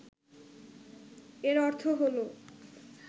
এর অর্থ হলো